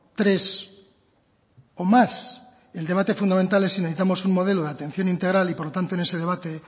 tres o más el debate fundamental es si necesitamos un modelo de atención integral y por lo tanto en ese debate